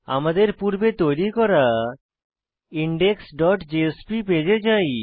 আমাদের পূর্বে তৈরী করা ইনডেক্স ডট জেএসপি পেজে যাই